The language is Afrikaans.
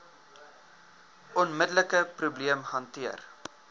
onmiddelike probleem hanteer